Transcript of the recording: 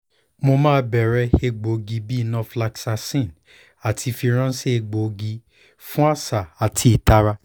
mo maa n bẹrẹ egboogi bi norfloxacin ati firanṣẹ egboogi fun aṣa ati itara